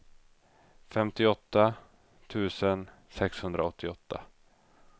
femtioåtta tusen sexhundraåttioåtta